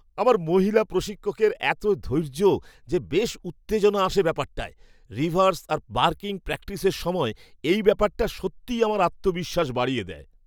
আমার মহিলা প্রশিক্ষকের এত ধৈর্য যে বেশ উত্তেজনা আসে ব্যাপারটায়, রিভার্স আর পার্কিং প্র্যাকটিসের সময় এই ব্যাপারটা সত্যিই আমার আত্মবিশ্বাস বাড়িয়ে দেয়।